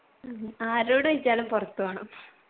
ഉം ആരോട് ചോയ്ച്ചാലും പുറത്തു പോണം